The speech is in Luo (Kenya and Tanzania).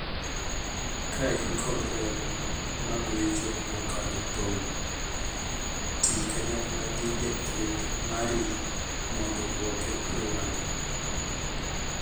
Ka in kod remo magwecho mokadho tong', tii kanyakla gi jathieth mari mondo duoke e wang'e.